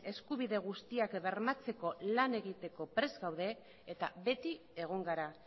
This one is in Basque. eskubide guztiak bermatzeko lan egiteko prest gaude eta beti egon gara